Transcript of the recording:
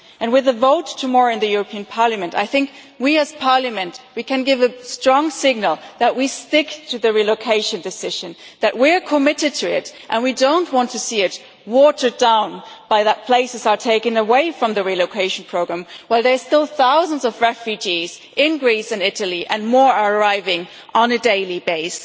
With the vote tomorrow in the European Parliament, I think we as a Parliament we can give a strong signal that we will stick to the relocation decision, that we are committed to it and do not want to see it watered down by places being taken away from the relocation programme while there are still thousands of refugees in Greece and Italy and more are arriving on a daily basis.